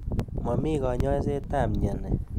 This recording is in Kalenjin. Momi kanyoiset ab mnyeni.